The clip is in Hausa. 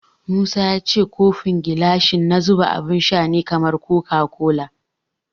Musa ya ce kofin gilashi na zuba abun sha ne kamar koka kola.